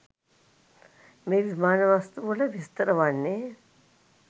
මේ විමාන වස්තුවල විස්තර වන්නේ